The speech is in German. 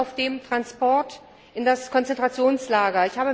Wir sind auf dem Transport in das Konzentrationslager.